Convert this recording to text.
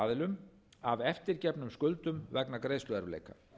aðilum af eftirgefnum skuldum vegna greiðsluerfiðleika